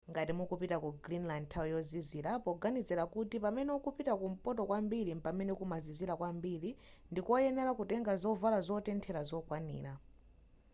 ngati mukupita ku greenland nthawi yozizira poganizira kuti pamene ukupita kumpoto kwambiri mpamene kumazizira kwambiri ndikoyenera kutenga zovala zotenthera zokwanira